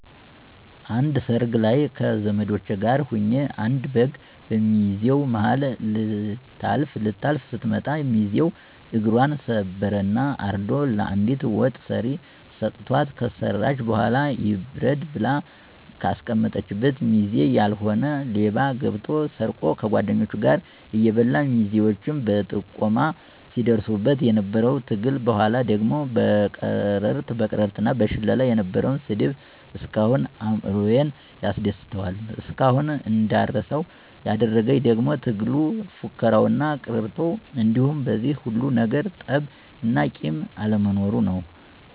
አንድ ሰርግ ላይ ከዘመዶቸ ጋር ሁኘ አንድ በግ በሚዜው ማሀል ልታልፍ ስትመጣ ሚዚው እግፘን ሰበረ እና አርዶ ለአንዲት ወጥ ሰሪ ሰተዋት ከሰራች በኋላ ይብረድ ብላ ከአስቀመጠችበት ሚዜ ያልሆነ ሌባ ገብቶ ሰርቆ ከጓድኞቹ ጋር እየበላ ሚዜዎች በጥቆማ ሲድርሱበት የነበረው ትግል በኋላ ደግሞ በቅርርት እና በሽለላ የነበረው ስድብ እስካሁን አእምሮየን ያስደስተዋል። እስካሁን እንዳረሳው ያደረግኝ ደግሞ ትግሉ፣ ፉከራው እና ቅርርቶው እንዲሁም በዚህ ሁሉ ነገር ጠብ እና ቂም አለመኖሩ ነው።